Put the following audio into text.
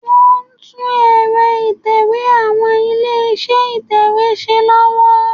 Wọ́n ń tún ẹ̀rọ ìtẹ̀wé àwọn ilé-iṣẹ́ ìtẹ̀wé ṣe lọ́wọ́